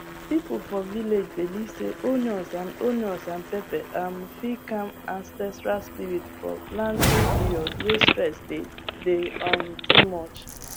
people for village believe say onions and onions and pepper um fit calm ancestral spirit for planting period way stress dey day um too much